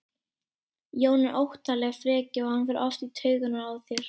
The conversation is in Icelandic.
Jón er óttaleg frekja og hann fer oft í taugarnar á þér.